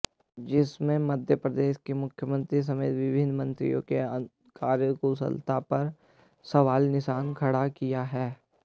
जिसमें मध्यप्रदेश के मुख्यमंत्री समेत विभिन्न मंत्रियों के कार्यकुशलता पर सवालियां निशान खड़ा किया है